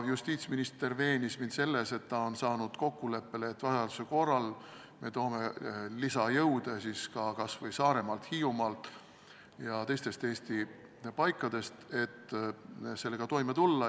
Justiitsminister veenis mind selles, et ta on saanud kokkuleppele, et vajaduse korral me toome lisajõude kas või Saaremaalt, Hiiumaalt ja teistest Eesti paikadest, et selle tööga toime tulla.